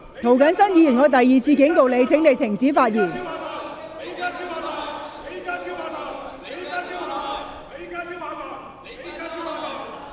涂謹申議員，我第二次警告你，請停止叫喊。